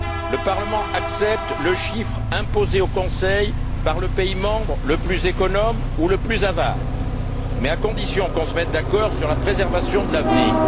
Le Parlement accepte le chiffre imposé au Conseil par le pays membre le plus économe ou le plus avare, mais à condition que l'on se mette d'accord sur la préservation de l'avenir.